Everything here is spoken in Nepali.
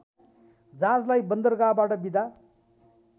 जहाजलाई बन्दरगाहबाट बिदा